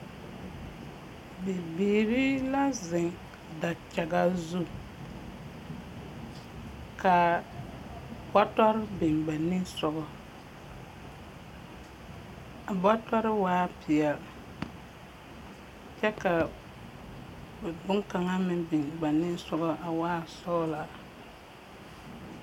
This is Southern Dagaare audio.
Bibiiri la zeŋ dakyaga zu, ka bɔtɔre biŋ ba ninsɔge, a bɔtɔre waa peɛl, kyɛ ka boŋkaŋa meŋ biŋ ba ninsɔge a waa sɔglaa.